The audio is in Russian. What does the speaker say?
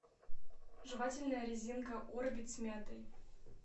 жевательная резинка орбит с мятой